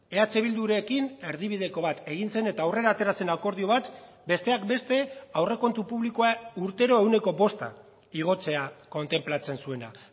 eh bildurekin erdibideko bat egin zen eta aurrera atera zen akordio bat besteak beste aurrekontu publikoa urtero ehuneko bosta igotzea kontenplatzen zuena